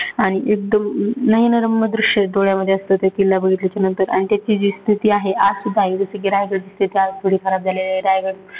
आणि एकदम अं नयनरम्य दृश्य डोळ्यामध्ये असतं. ते किल्ला बघितल्याच्या नंतर आणि त्याची जी स्थिती आहे, आज रायगड थोडी खराब झाली आहे.